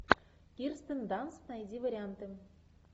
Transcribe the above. кирстен данст найди варианты